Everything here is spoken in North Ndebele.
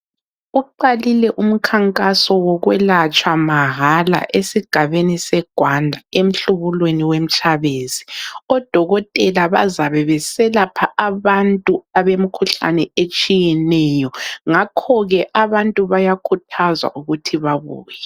Uqalile umkhankaso wokwelatshwa mahala esigabeni seGwanda, emhlubulweni weMtshabezi. Odokotela bazabe beselapha abantu abemikhuhlane etshiyeneyo. Ngakhoke abantu bayakhuthazwa ukuthi babuye.